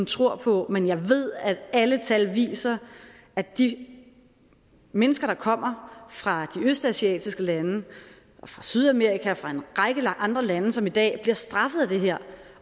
tror på men jeg ved at alle tal viser at de mennesker der kommer fra de østasiatiske lande fra sydamerika og fra en række andre lande som i dag bliver straffet af det her